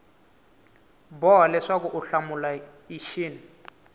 boha leswaku u hlamula xin